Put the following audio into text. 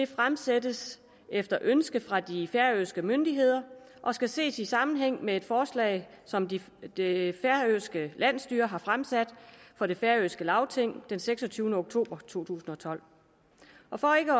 fremsættes efter et ønske fra de færøske myndigheder og skal ses i sammenhæng med et forslag som det færøske landsstyre har fremsat for det færøske lagting den seksogtyvende oktober to tusind og tolv og for ikke